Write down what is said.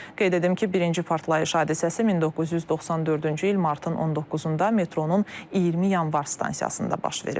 Qeyd edim ki, birinci partlayış hadisəsi 1994-cü il martın 19-da metronun 20 yanvar stansiyasında baş verib.